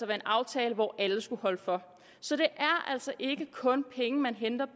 være en aftale hvor alle skulle holde for så det er altså ikke kun penge man henter